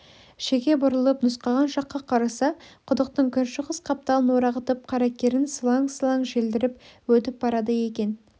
шеге бұрылып нұсқаған жаққа қараса құдықтың күншығыс қапталын орағытып қаракерін сылаң-сылаң желдіріп өтіп барады екен